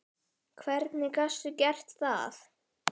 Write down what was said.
Hvernig gastu gert það?!